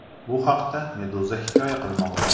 Bu haqda Meduza hikoya qilmoqda .